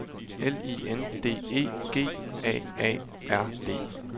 L I N D E G A A R D